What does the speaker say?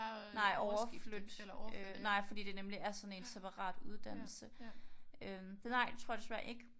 Nej overflytte. Nej fordi det nemlig er sådan en separat uddannelse øh så nej det tror jeg desværre ikke